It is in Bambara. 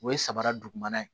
O ye samara dugumana ye